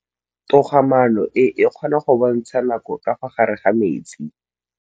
Toga-maanô e, e kgona go bontsha nakô ka fa gare ga metsi.